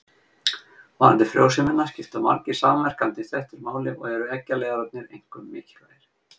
Varðandi frjósemina skipta margir samverkandi þættir máli og eru eggjaleiðararnir einkum mikilvægir.